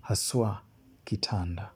haswa kitanda.